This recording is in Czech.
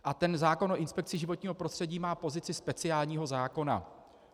A ten zákon o inspekci životního prostředí má pozici speciálního zákona.